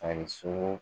Ani sogo